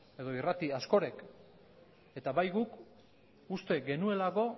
edo irrati askok eta bai guk uste